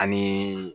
Anii